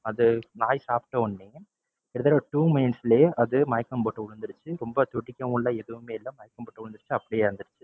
அதை நாய் சாப்பிட்ட உடனே கிட்டத்தட்ட two minutes லையே அது மயக்கம் போட்டு விழுந்துடுச்சு ரொம்ப துடிக்கவும் இல்ல எதுவுமே இல்ல மயக்கம் போட்டு விழுந்துருச்சு அப்படியே இறந்துருச்சு.